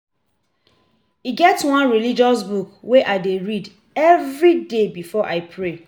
E get one religious book wey I dey read everyday before I pray.